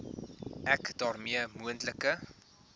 ek daarmee moontlike